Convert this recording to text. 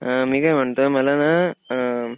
अ मी काय म्हणतोय मला ना अअअ